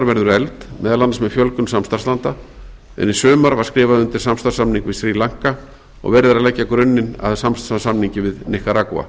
verður efld meðal annars með fjölgun samstarfslanda en í sumar var skrifað undir samstarfssamning við srí lanka og verið er að leggja grunni að sams konar samningi við níkaragva